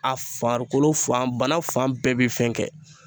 A farikolo fan banan fan bɛɛ bɛ fɛn kɛ